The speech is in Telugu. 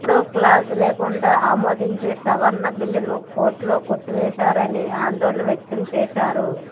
మూడో క్లాజు లేకుండా ఆమోదించే సవరణ బిల్లును కోర్టులో కొట్టివేస్తారని ఆందోళన వ్యక్తం చేశారు